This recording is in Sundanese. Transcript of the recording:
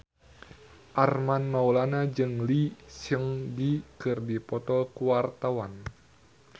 Armand Maulana jeung Lee Seung Gi keur dipoto ku wartawan